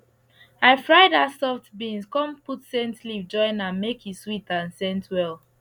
i fry dat soft beans come put scent leaf join am make e sweet and scent well